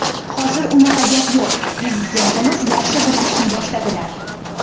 Hozir unaqa gap yo‘q... Prezidentimiz yaxshi bir ishni boshladilar.